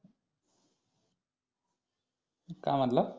काय म्हणला